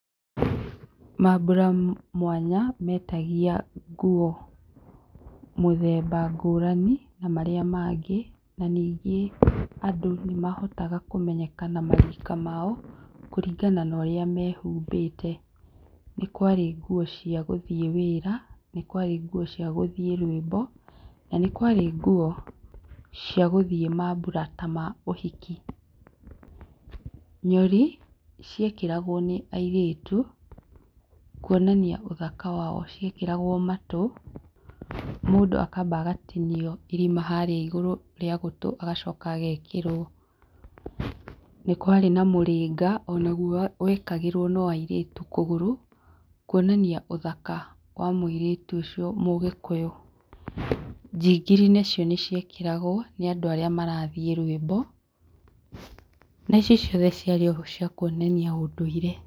Mambura mwanya mendagia nguo mũthemba ngũrani na marĩa mangĩ na ningĩ andũ nĩ mahotaga kũmenyeka na marika mao kũringana na ũrĩa mehumbĩte, nĩ kwarĩ nguo cia gũthiĩ wĩra, nĩ kwarĩ nguo cia gũthiĩ rwĩmbo na nĩ kwarĩ nguo cia mambura ta ma ũhiki, nyori ciekĩragwo nĩ airĩtu kwonania ũthaka wao, ciekĩragwo matũ mũndũ akamba agatinio irima harĩa igũrũ rĩa gũtũ agacoka agekĩrwo, nĩ kwarĩ na mũrĩnga ona naguo wekĩragwo no airĩtu kũgũra, kwonania ũthaka wa mũirĩtu ũcio mũgĩkũyũ, njingiri nacio nĩ ciekĩragwo nĩ andũ arĩa marathiĩ rwĩmbo na ici ciothe ciarĩ o cia kwonania ũndũire.